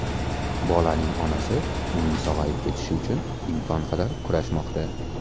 Bolaning onasi uning sog‘ayib ketishi uchun imkon qadar kurashmoqda.